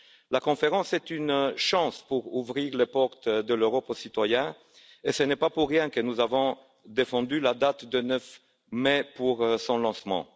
La conférence est une chance pour ouvrir les portes de l'Europe aux citoyens et ce n'est pas pour rien que nous avons défendu la date du 9 mai pour son lancement.